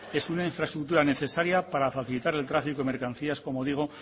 es una infraestructura necesaria para facilitar el tráfico de mercancías como digo